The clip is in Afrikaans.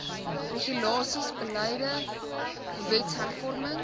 regulasies beleide wetshervorming